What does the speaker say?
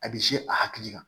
A bɛ se a hakili kan